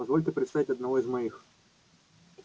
позвольте представить одного из моих